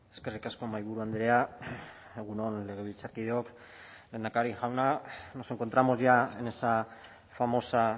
eskerrik asko mahaiburu andrea egun on legebiltzarkideok lehendakari jauna nos encontramos ya en esa famosa